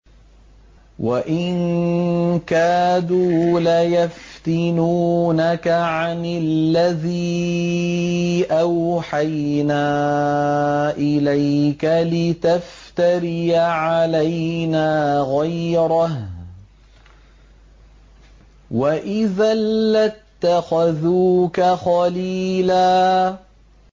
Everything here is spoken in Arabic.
وَإِن كَادُوا لَيَفْتِنُونَكَ عَنِ الَّذِي أَوْحَيْنَا إِلَيْكَ لِتَفْتَرِيَ عَلَيْنَا غَيْرَهُ ۖ وَإِذًا لَّاتَّخَذُوكَ خَلِيلًا